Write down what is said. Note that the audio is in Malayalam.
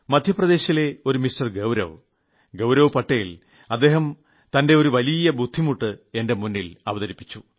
മധ്യപ്രദേശിലെ ഒരു മിസ്റ്റർ ഗൌരവ് ഗൌരവ് പട്ടേൽ അദ്ദേഹം തന്റെ ഒരു വലിയ ബുദ്ധിമുട്ട് എന്റെ മുമ്പിൽ അവതരിപ്പിച്ചു